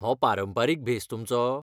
हो पारंपारीक भेस तुमचो?